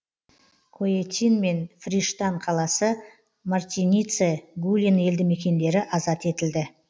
коетин мен фриштан қаласы мартинице гулин елді мекендері азат етілді